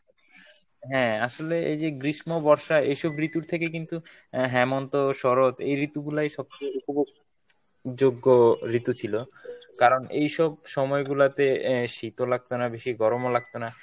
হ্যাঁ আসলে এই যে গ্রীষ্ম, বর্ষা এইসব ঋতুর থেকে কিন্তু হেমন্ত, শরৎ এই ঋতুগুলাই সবচেয়ে উপভোগ যোগ্য ঋতু ছিল কারণ এইসব সময়গুলাতে আহ শীত ও লাগতোনা বেশি গরম ও লাগতোনা।